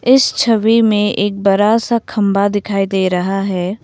इस छवि में एक बड़ा सा खंबा दिखाई दे रहा है।